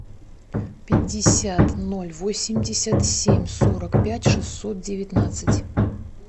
пятьдесят ноль восемьдесят семь сорок пять шестьсот девятнадцать